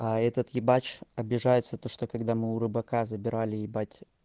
а этот ебать обижается то что когда мы у рыбака забирали ебать